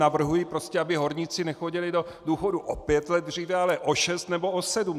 Navrhuji prostě, aby horníci nechodili do důchodu o pět let dříve, ale o šest nebo o sedm.